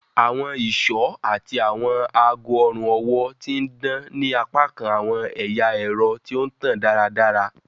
Awọn iṣọ ati awọn aago ọrun-ọwọ ti n dan ni apakan awọn ẹya ẹrọ ti o tan daradara.